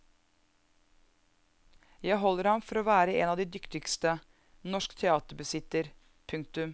Jeg holder ham for å være en av de dyktigste norsk teater besitter. punktum